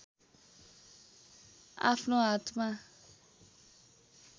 आफ्नो हातमा